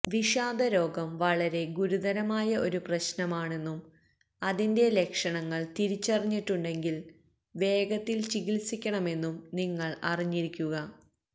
വിഷാദ രോഗം വളരെ ഗുരുതരമായ ഒരു പ്രശ്നമാണെന്നും അതിന്റെ ലക്ഷണങ്ങള് തിരിച്ചറിഞ്ഞിട്ടുണ്ടെങ്കില് വേഗത്തില് ചികിത്സിക്കണമെന്നും നിങ്ങള് അറിഞ്ഞിരിക്കുക